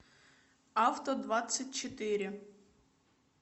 авто двадцать четыре